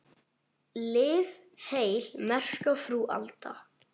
Lif heil, merka frú Alda.